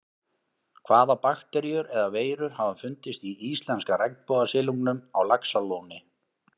Hvaða bakteríur eða veirur hafa fundist í íslenska regnbogasilungnum á Laxalóni?